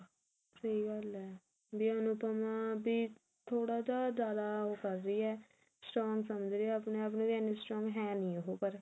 ਸਹੀ ਗੱਲ ਹੈ ਵੀ ਅਨੁਪਮਾ ਥੋੜਾ ਜਾ ਜਿਆਦਾ ਉਹ ਕਰ ਰਹੀ ਹੈ strong ਸਮਝ ਰਹੀ ਹੈ ਆਪਣੇ ਆਪ ਨੂੰ ਵੀ ਇੰਨੀ strong ਹੈ ਨਹੀ ਉਹ